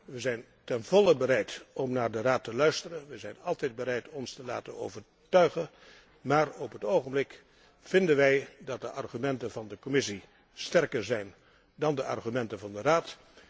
Wij zijn ten volle bereid om naar de Raad te luisteren, wij zijn altijd bereid ons te laten overtuigen, maar op het ogenblik vinden wij dat de argumenten van de Commissie sterker zijn dan de argumenten van de Raad.